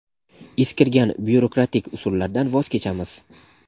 eskirgan byurokratik usullardan voz kechamiz.